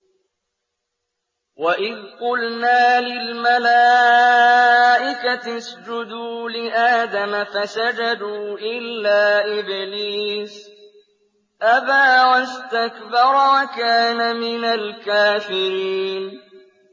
وَإِذْ قُلْنَا لِلْمَلَائِكَةِ اسْجُدُوا لِآدَمَ فَسَجَدُوا إِلَّا إِبْلِيسَ أَبَىٰ وَاسْتَكْبَرَ وَكَانَ مِنَ الْكَافِرِينَ